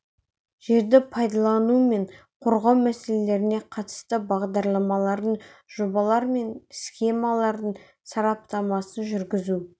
жерді пайдалану мен қорғау мәселелеріне қатысты бағдарламалардың жобалар мен схемалардың сараптамасын жүргізу